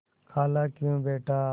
खालाक्यों बेटा